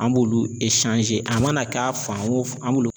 An b'olu a mana k'a fan o fan an b'ulu